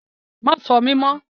Má ṣọ́ mi mọ́!